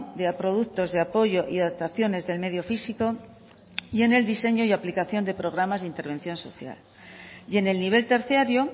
de productos de apoyo y adaptaciones del medio físico y en el diseño y aplicación de programas de intervención social y en el nivel terciario